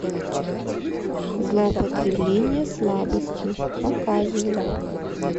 злоупотребление слабостью показывай